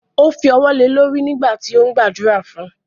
Ó fi wọ́ le lórí nígbà tí ó ń gbàdúrà fun.